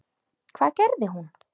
Hvað gerði hún?